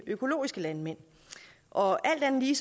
økologiske landmænd og alt andet lige